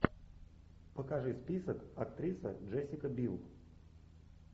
покажи список актриса джессика бил